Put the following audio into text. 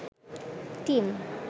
tin